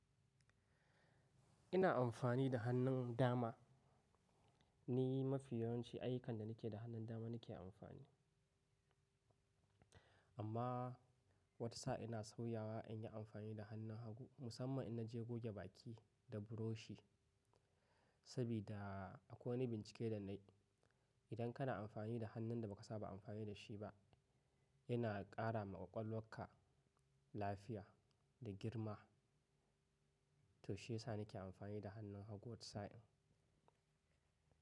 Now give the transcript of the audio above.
Ina amfani da hannun dama ni mafi yawanci ayyukan da nake da hannun dama nake amfani. Amma wata sa'i ina sauyawa in yi amfani da hannun hagu musamman in naje goge baki da buroshi. Saboda akwai wani bincike da na yi, idan kana amfani da hannun da ba ka saba amfani da shi ba yana ƙara ma ƙwaƙwalwarka lafiya da girma. To shi yasa nake amfani da hannun hagu wata sa'in.